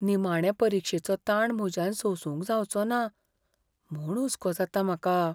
निमाणें परिक्षेचो ताण म्हज्यान सोसूंक जावचो ना म्हूण हुस्को जाता म्हाका.